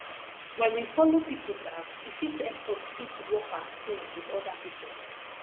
when we follow pipo dance e fit help us fit work as team with oda pipo